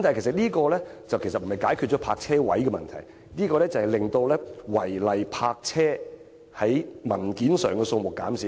這其實不能解決泊車位的問題，只會在文件上，令違例泊車的數目減少而已。